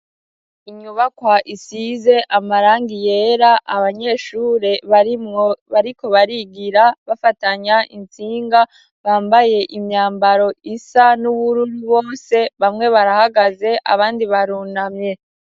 Inyubakwa isize amarangi yera abanyeshure barimwo bariko barigira bafatanya intsinga bambaye imyambaro isa n'ubururu bose bamwe barahagaze abandi barunamye.